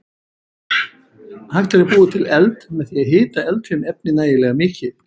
Hægt er að búa til eld með því að hita eldfim efni nægilega mikið.